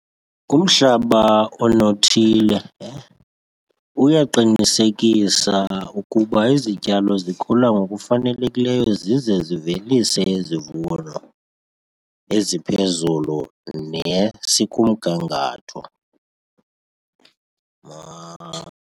Umhlaba onothile uyaqinisekisa ukuba izityalo zikhula ngokufanelekileyo zize zivelise izivuno eziphezulu nesikumgangatho .